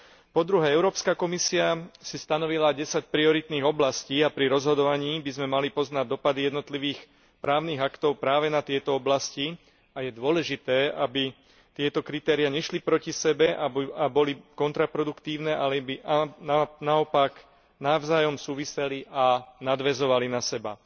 Po druhé, Európska komisia si stanovila 10 prioritných oblastí a pri rozhodovaní by sme mali poznať dosahy jednotlivých právnych aktov práve na tieto oblasti a je dôležité, aby tieto kritéria nešli proti sebe a boli kontraproduktívne, ale aby naopak navzájom súviseli a nadväzovali na seba.